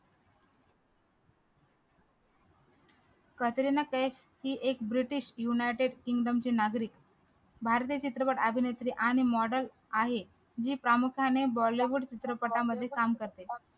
कटरीना कैफ ही एक british united kingdom ची नागरीक भारतीय चित्रपट अभिनेत्री आणि model आहे जी प्रामुख्याने bollywood चित्रपटांमध्ये काम करते